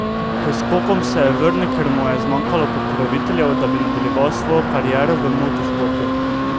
K skokom se je vrnil, ker mu je zmanjkalo pokroviteljev, da bi nadaljeval svojo kariero v motošportu.